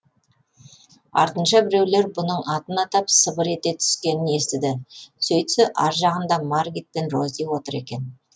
артынша біреулер бұның атын атап сыбыр ете түскенін естіді сөйтсе ар жағында маргит пен рози отыр екен